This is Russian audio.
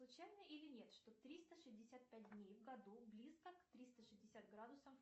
случайно или нет что триста шестьдесят пять дней в году близко к триста шестьдесят градусам